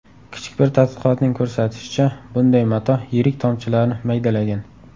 Kichik bir tadqiqotning ko‘rsatishicha, bunday mato yirik tomchilarni maydalagan.